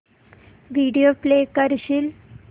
video play करशील